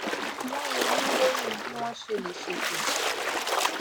wón ronú lórí bí wón ṣe lè ṣètò